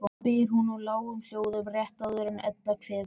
spyr hún í lágum hljóðum rétt áður en Edda kveður.